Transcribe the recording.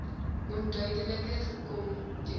onduidelik gekom toe